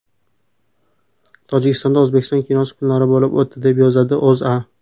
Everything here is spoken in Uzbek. Tojikistonda O‘zbekiston kinosi kunlari bo‘lib o‘tdi, deb yozadi O‘zA.